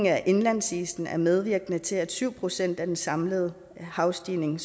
af indlandsisen er medvirkende til at skabe syv procent af den samlede havstigning